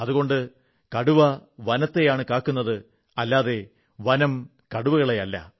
അതുകൊണ്ട് കടുവ വനത്തെയാണ് കാക്കുന്നത് അല്ലാതെ വനം കടുവകളെയല്ല